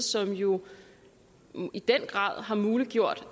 som jo i den grad har muliggjort